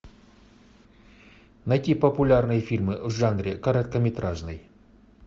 найти популярные фильмы в жанре короткометражный